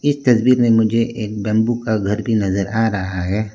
इस तस्वीर में मुझे एक बंबू का घर भी नजर आ रहा है।